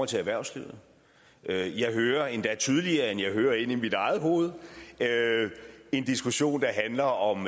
til erhvervslivet jeg hører endda tydeligere end jeg hører inde i mit eget hoved en diskussion der handler om